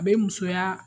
A bɛ musoya